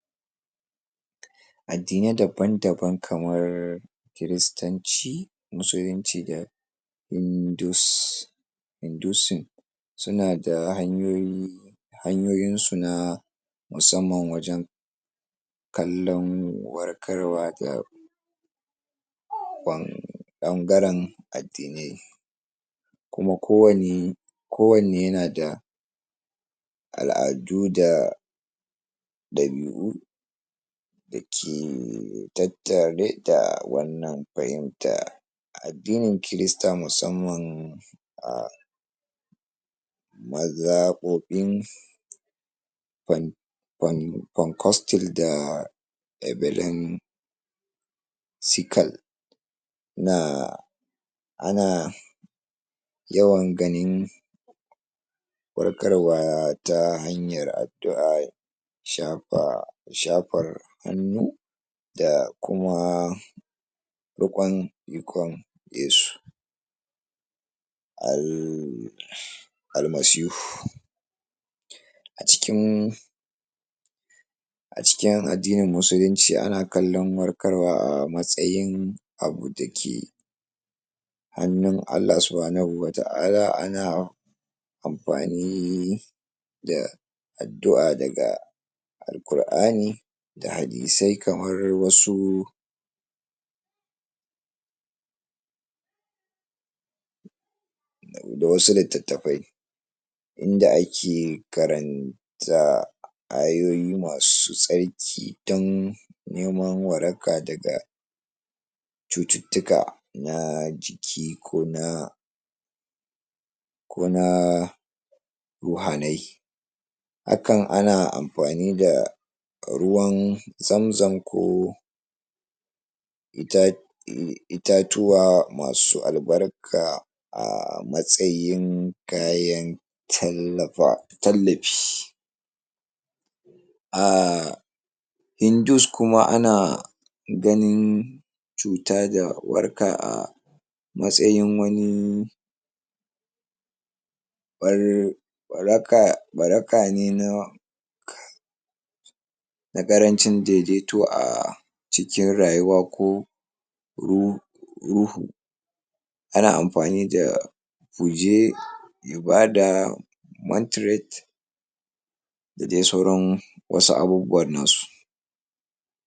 adinai daban-daban kamar kristanci musulinci da hindus indusin sunada hanyoyi hanyoyinsu na musamman kalon warkarwa da ɓan ɓangaran adinai kuma kowani kowane yanada aladu da ɗabi'u dake tattare da wannan fahimta a adini kirista musamman a mazaɓoɓin um um kwankastil da da BERLIN sikal na ana yawan ganin warkarwa ta hanyar adua shafa shafar hanu dakuma riƙwan yuƙwan yesu almasihu acikin acikin adini musulunci ana kalan warkarwa a matsayin abu dake hanu allah subuhanahu wata'ala ana anfani da adua daga alkurani da hadisai kamar wasu da wasu litattafai inda ake karan ta ayoyi masu tsarki dan neman waraka daga cututuka na jiki kona koma ruhanai akan ana anfani da ruwan zamzam ko ita itatuwa masu albarka a matsayin kayan talafa talafi um hindus kuma ana gani cuta da waraka a matsayin wani waraka warakane na ƙaranci daidaito a cikin rayuwa ko ru ruhu ana anfani da fuje ibada mantiret dadai sauran wasu abubuwan nasu